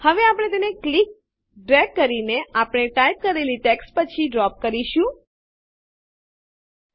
હવે આપણે તેને ક્લિક દબાવવું ડ્રેગ ખસેડવું કરીને આપણે ટાઈપ કરેલી ટેક્સ્ટ પછી ડ્રોપ એક જગ્યાએ મુકવુંકરીશું